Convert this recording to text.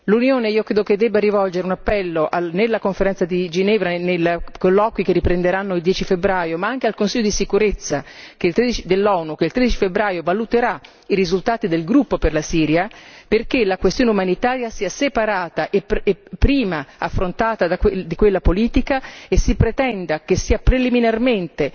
L'Unione io credo che debba rivolgere un appello nella Conferenza di Ginevra, nei colloqui che riprenderanno il 10 febbraio, ma anche al Consiglio di sicurezza dell'ONU, che il 13 febbraio valuterà i risultati del gruppo per la Siria, perché la questione umanitaria sia separata e affrontata prima di quella politica e si pretenda che sia preliminarmente,